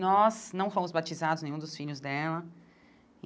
Nós não fomos batizados nenhum dos filhos dela.